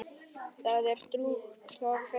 Það er drjúgt af fiski.